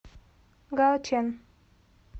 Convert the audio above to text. гаочэн